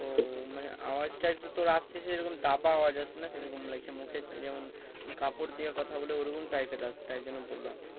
ও মানে আওয়াজটা একটু তোর আসছে দাবা আওয়াজ আসছে না সেরকম লাগছে মুখে যেমন কাপড় দিয়ে কথা বলে ওইরকম type এর আসছে তাই জন্য বললাম